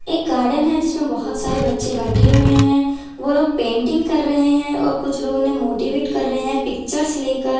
एक गार्डन है जिसमें बहुत सारे बच्चे बैठे हुए हैं वो लोग पेंटिंग कर रहे हैं और कुछ लोग उन्हें मोटिवेट कर रहे हैं पिक्चर्स लेकर।